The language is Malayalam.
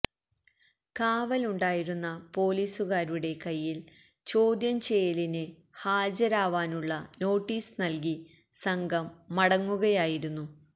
കാവലുണ്ടായിരുന്ന പോലീസുകാരുടെ കൈയ്യില് ചോദ്യം ചെയ്യലിന് ഹാജരാവാനുള്ള നോട്ടീസ് നല്കി സംഘം മടങ്ങുകയായിരുന്നു